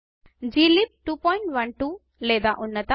glib 212 లేదా ఉన్నత